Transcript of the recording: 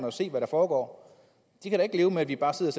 at se hvad der foregår de kan da ikke leve med at vi bare sidder